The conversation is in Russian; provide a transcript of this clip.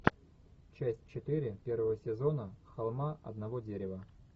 часть четыре первого сезона холма одного дерева